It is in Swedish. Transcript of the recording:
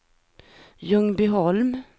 Ljungbyholm